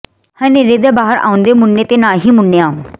ਹਨੇਰੇ ਚ ਬਾਹਰ ਆਓਂਦੇ ਮੁੰਨੇ ਤੇ ਨਾ ਹੀ ਮੁੰਨੀਆਂ